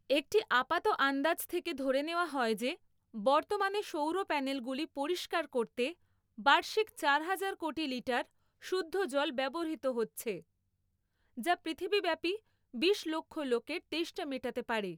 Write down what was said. একটি আপাত আন্দাজ থেকে ধরে নেওয়া হয় যে, বর্তমানে সৌর প্যানেলগুলি পরিষ্কার করতে বার্ষিক চারহাজার কোটি লিটার শুদ্ধ জল ব্যবহৃত হচ্ছে যা পৃথিবীব্যাপী বিশলক্ষ লোকের তেষ্টা মেটাতে পারে।